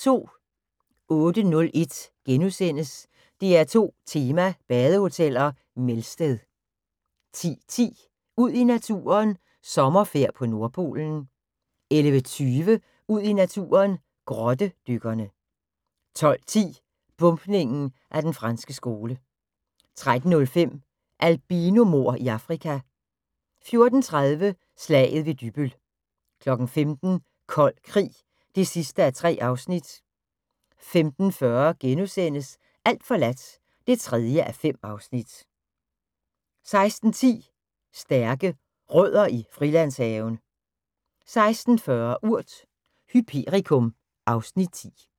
08:01: DR2 Tema: Badehoteller - Melsted * 10:10: Ud i naturen: Sommerfærd på nordpolen 11:20: Ud i naturen: Grottedykkerne 12:10: Bombningen af Den franske Skole 13:05: Albinomord i Afrika 14:30: Slaget ved Dybbøl 15:00: Kold krig (3:3) 15:40: Alt forladt (3:5)* 16:10: Stærke Rødder i Frilandshaven 16:40: Urt: Hyperikum (Afs. 10)